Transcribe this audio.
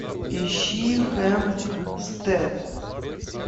ищи хэмпстед